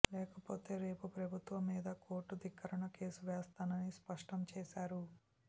లేకపోతే రేపు ప్రభుత్వం మీద కోర్టు ధిక్కరణ కేసు వేస్తానని స్పష్టం చేశారు